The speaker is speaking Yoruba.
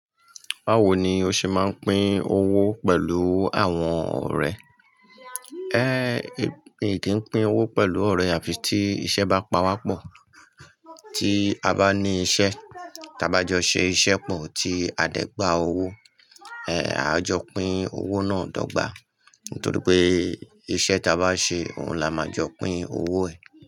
Báwo ni o ṣe máa ń pín owó pẹ̀lú àwọn ọ̀rẹ́. Eh, mi kì pín owó pẹ̀lú ọ̀rẹ́ àfi tí iṣẹ́ bá pawá pọ̀. Tí a bá ní iṣẹ́, tá bá jọ ṣe iṣẹ́ pọ̀ tí a dẹ́ gbà owó, eh, a jọ pín owó náà dọ́gba. Nítorí pé iṣẹ́ tá bá ṣe, òun ni a máa jọ pín owó ẹ̀.